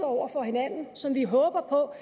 over for hinanden som vi håber på